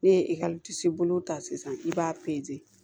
Ne ye ekɔliso bolo ta sisan i b'a